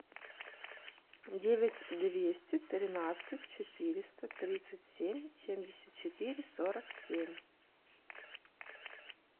девять двести тринадцать четыреста тридцать семь семьдесят четыре сорок семь